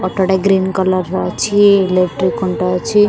Auto ଟେ green colour ର ଅଛି ଇଲେକ୍ଟ୍ରି ଖୁଣ୍ଟ ଅଛି ।